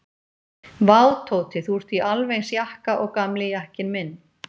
Vá, Tóti, þú ert í alveg eins jakka og gamli jakkinn minn.